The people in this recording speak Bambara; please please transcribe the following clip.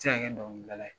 Se ka kɛ dɔnkilidala ye